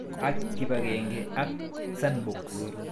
Ak kipag'eng'e ak Sandbox